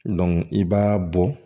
i b'a bɔ